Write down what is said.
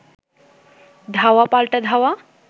ধাওয়া পাল্টা ধাওয়া